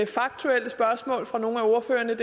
faktuelle spørgsmål fra nogle af ordførerne